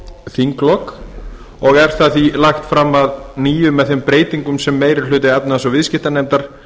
þinglok og er það því lagt fram að nýju með þeim breytingum sem meiri hluti háttvirtrar efnahags og viðskiptanefndar